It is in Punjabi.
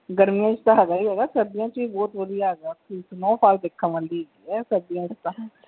ਗਰਮੀਆਂ ਚ ਤੇ ਹੈਗਾ ਈ ਹੀਅਗਾ ਸਰਦੀਆਂ ਚ ਵੀ ਬਹੁਤ ਵਧੀਆ ਹੈਗਾ ਆ ਓਥੇ snowfall ਦੇਖਣ ਵਾਲੀ ਹੈਗੀ ਆ ਸਰਦੀਆਂ ਚ ਤਾਂ।